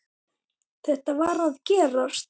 Þetta varð að gerast.